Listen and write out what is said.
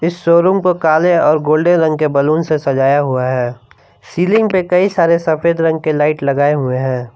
इस शोरूम को काले और गोल्डन रंग के बैलून से सजाया हुआ है सीलिंग पर कई सारे सफेद रंग के लाइट लगाए हुए हैं।